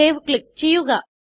save click ചെയ്യുക